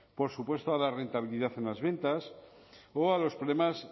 por supuesto a la rentabilidad en las ventas o a los problemas